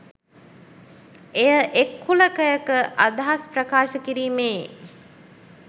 එය එක් කුලකයක අදහස් ප්‍රකාශ කිරීමේ